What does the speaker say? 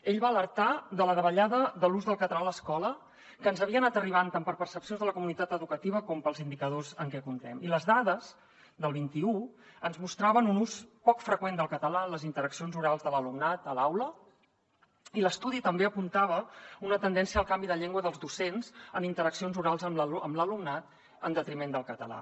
ell va alertar de la davallada de l’ús del català a l’escola que ens havia anat arribant tant per percepcions de la comunitat educativa com pels indicadors amb què comptem i les dades del vint un ens mostraven un ús poc freqüent del català en les interaccions orals de l’alumnat a l’aula i l’estudi també apuntava una tendència al canvi de llengua dels docents en interaccions orals amb l’alumnat en detriment del català